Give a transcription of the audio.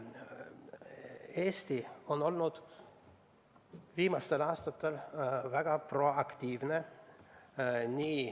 Eesti on olnud viimastel aastatel väga proaktiivne.